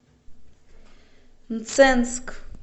мценск